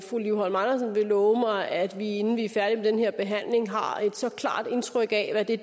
fru liv holm andersen vil love mig at vi inden vi er færdige med den her behandling har et så klart indtryk af hvad det